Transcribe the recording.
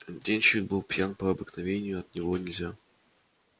денщик был пьян по обыкновению от него нельзя